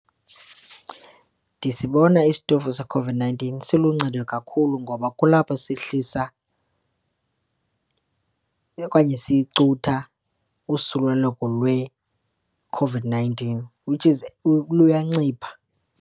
Ndisibona isitofu seCOVID-nineteen siluncedo kakhulu ngoba kulapho sihlisa okanye sicutha usuleleko lweCOVID-nineteen, which is luyancipha.